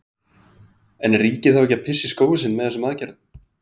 En er ríkið ekki að pissa í skóinn sinn með þessum aðgerðum?